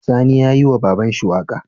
Sani yayi wa babanshi waƙa